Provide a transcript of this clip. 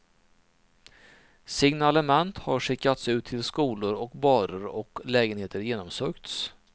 Signalement har skickats ut till skolor och barer och lägenheter genomsökts.